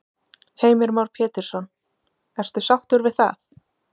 Heimir Már Pétursson: Ertu sáttur við það?